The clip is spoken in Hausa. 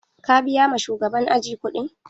Ka biya ma shugaban aji kuɗin?